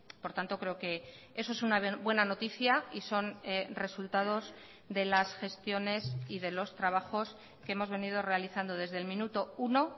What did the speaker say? por tanto creo que eso es una buena noticia y son resultados de las gestiones y de los trabajos que hemos venido realizando desde el minuto uno